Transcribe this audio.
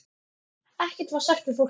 Ekkert var sagt við fólkið.